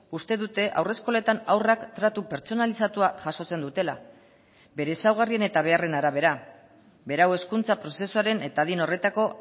uste dute haurreskoletan haurrak tratu pertsonalizatua jasotzen dutela bere ezaugarrien eta beharren arabera berau hezkuntza prozesuaren eta adin horretako